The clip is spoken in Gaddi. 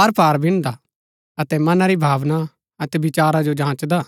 आरपार बिनदा अतै मनां री भावना अतै विचारा जो जाँचदा